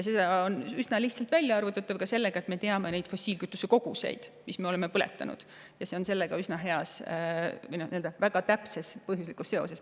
See on üsna lihtsalt välja arvutatav ka selle alusel, et me teame neid fossiilkütuse koguseid, mida me oleme põletanud, ja see on sellega väga täpses põhjuslikus seoses.